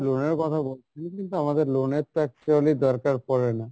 loan এর কথা বলছেন কিন্তু আমাদের loan এর তো actually দরকার পরে না,